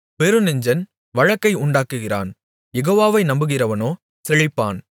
பெருநெஞ்சன் வழக்கை உண்டாக்குகிறான் யெகோவாவை நம்புகிறவனோ செழிப்பான்